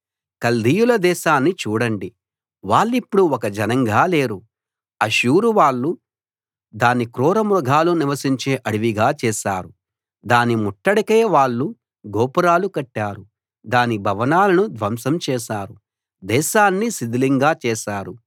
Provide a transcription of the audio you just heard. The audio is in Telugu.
కల్దీయుల దేశాన్ని చూడండి వాళ్ళిప్పుడు ఒక జనంగా లేరు అష్షూరు వాళ్ళు దాన్ని క్రూర మృగాలు నివసించే అడవిగా చేశారు దాని ముట్టడికై వాళ్ళు గోపురాలు కట్టారు దాని భవనాలను ధ్వంసం చేశారు దేశాన్ని శిథిలంగా చేశారు